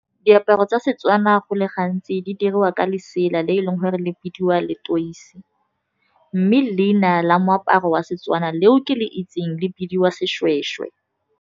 Diaparo tsa Setswana go le gantsi di dirwa ka lesela le e leng gore le bidiwa leteisi, mme leina la moaparo wa seTswana leo ke le itseng le bidiwa seshweshwe.